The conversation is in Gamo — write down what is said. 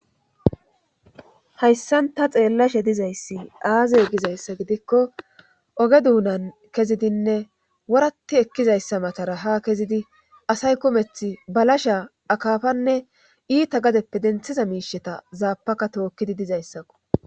Hayssanta xeellashe dizayssi aazey gizayssa gidikko oge duunan kezidinne worati ekkizayssa matara ha kezidi asay kumeth balasha akaafanne iita gadeppe denthiza miisheta zaapaka tookkidi dizayssakko.